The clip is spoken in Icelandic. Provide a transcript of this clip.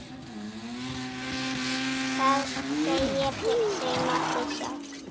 Það segir sig nokkuð sjálft.